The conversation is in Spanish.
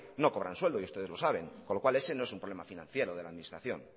no cobran sueldo y ustedes lo saben con lo cual ese no es un problema financiero de la administración